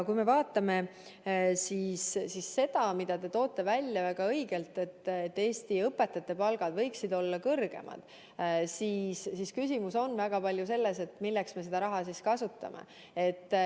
Kui me vaatame seda, mida te väga õigesti välja toote, et Eesti õpetajate palgad võiksid olla kõrgemad, siis küsimus on väga palju selles, milleks me raha kasutame.